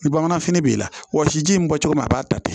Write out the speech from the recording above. Ni bamananfini b'i la wɔsiji in bɛ bɔ cogo min na a b'a ta ten